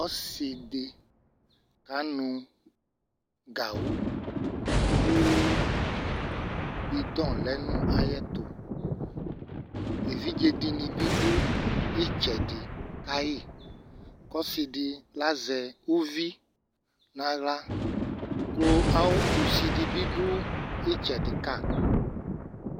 Ɔsɩ dɩ kanʋ gawʋ kʋ bɩdɔ lɛ nʋ ayɛtʋ Evidze dɩnɩ bɩ dʋ ɩtsɛdɩ ka yɩ kʋ ɔsɩ dɩ lazɛ uvi nʋ aɣla kʋ awʋ kusi dɩ bɩ dʋ ɩtsɛdɩ ka